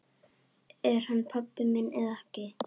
Er hann pabbi minn eða ekki?